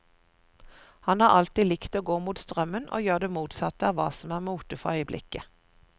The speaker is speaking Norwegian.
Han har alltid likt å gå mot strømmen og gjøre det motsatte av hva som er mote for øyeblikket.